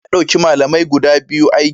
Shugaba ya dauki malamai guda biyu aiki